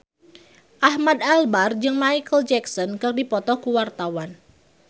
Ahmad Albar jeung Micheal Jackson keur dipoto ku wartawan